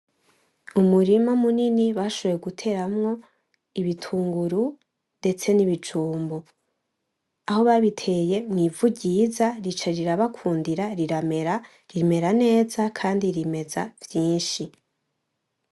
Umurima munini bashoboye guteramwo ibitunguru ndetse n’ibijumbu. Aho babiteye n’ivu ryiza rica rirabakundira riramera, rimera neza kandi rimeza vyinshi.